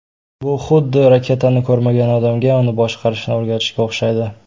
Bu xuddi raketani ko‘rmagan odamga uni boshqarishni o‘rgatishga o‘xshaydi.